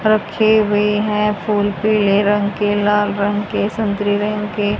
रखे हुए हैं फूल पीले रंग के लाल रंग के संतरे रंग के--